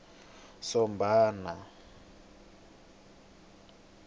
sombana